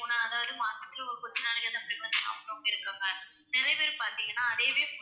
போனா அதாவது மாசத்துல ஒரு கொஞ்ச நாளைக்கு frequent ஆ சாப்பிடுறவங்க இருக்காங்க. நிறைய பேர் பாத்தீங்கன்னா அதையவே